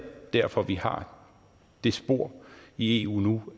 derfor vi har det spor i eu